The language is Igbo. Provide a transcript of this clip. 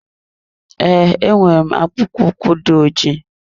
Ee, enwere m akwụkpo ụkwụ dị ojii.